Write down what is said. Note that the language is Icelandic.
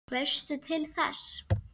Veistu til þess?